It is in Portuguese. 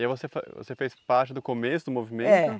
E aí você você fez parte do começo do movimento? É.